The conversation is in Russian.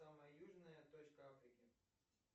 самая южная точка африки